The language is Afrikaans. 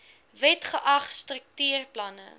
wet geag struktuurplanne